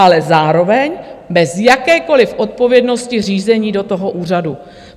Ale zároveň bez jakékoliv odpovědnosti řízení do toho úřadu.